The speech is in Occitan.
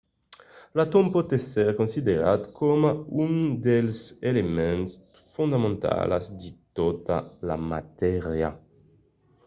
l'atòm pòt èsser considerat coma un dels elements fondamentalas de tota la matèria